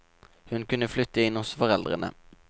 Hun kunne flytte inn hos foreldrene.